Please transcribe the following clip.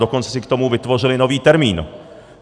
Dokonce si k tomu vytvořili nový termín.